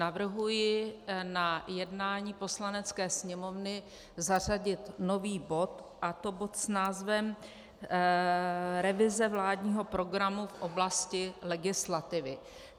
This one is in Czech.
Navrhuji na jednání Poslanecké sněmovny zařadit nový bod, a to bod s názvem revize vládního programu v oblasti legislativy.